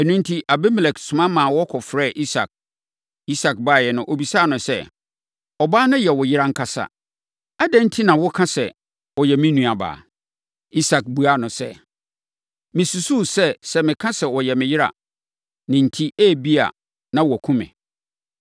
Ɛno enti, Abimelek soma ma wɔkɔfrɛɛ Isak. Isak baeɛ no, ɔbisaa no sɛ, “Ɔbaa no yɛ wo yere ankasa. Adɛn enti na woka sɛ, ‘Ɔyɛ me nuabaa?’ ” Isak buaa no sɛ, “Mesusuu sɛ, sɛ meka sɛ ɔyɛ me yere a, ne enti, ebia, na wɔakum me.”